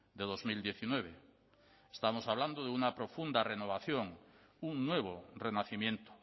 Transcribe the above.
de dos mil diecinueve estamos hablando de una profunda renovación un nuevo renacimiento